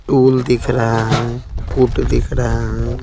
Tool दिख रहा है पुट दिख रहा है।